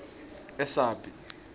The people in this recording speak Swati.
esabie